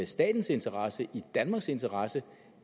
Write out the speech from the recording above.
statens interesse i danmarks interesse